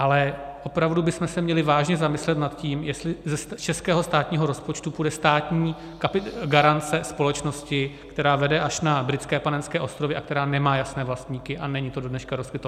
Ale opravdu bychom se měli vážně zamyslet nad tím, jestli z českého státního rozpočtu půjde státní garance společnosti, která vede až na Britské Panenské ostrovy a která nemá jasné vlastníky, a není to do dneška rozkryto.